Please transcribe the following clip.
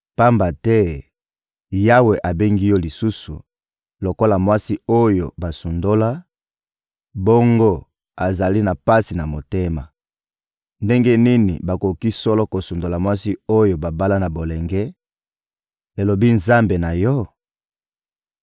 Pamba te Yawe abengi yo lisusu lokola mwasi oyo basundola, bongo azali na pasi na motema. Ndenge nini bakoki solo kosundola mwasi oyo babala na bolenge, elobi Nzambe na yo?